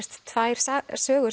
tvær sögur